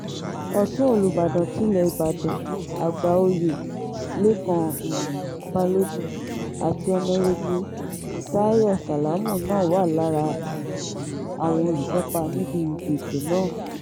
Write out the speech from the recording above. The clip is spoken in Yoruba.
ọ̀tún olùbàdàn tilé ìbàdàn àgbà-òye lẹ́kan um balógun àti ọ̀nàrẹ́bù táyọ sálámù náà wà lára um àwọn olùkópa níbi ètò náà